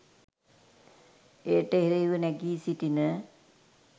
එයට එරෙහිව නැගී සිටින